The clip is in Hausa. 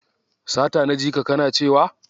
Sata na jika kana cewa?